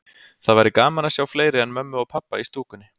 Það væri gaman að sjá fleiri en mömmu og pabba í stúkunni.